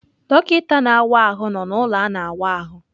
Dọkịta na-awa ahụ nọ na ụlọ a na wa ahụ.